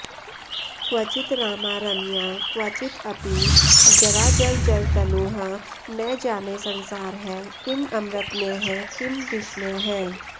क्वचित् रामा रम्या क्वचित् अपि जराजर्जरतनुः न जाने संसारः किं अमृतमयः किं विषमयः